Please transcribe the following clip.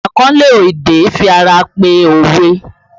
Akanlo èdè fi ara pẹ́ òwe